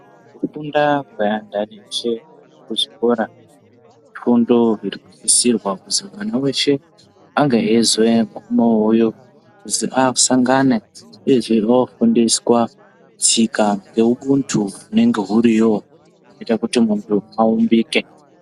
Kufunda kweandani eshe kuzvikora ifundo inenge isisirea kuti mwana eshe ange kuti akusangana ange eifundiswa tsika neubuntu unenge iriyo unoita kuti muntu uumbike.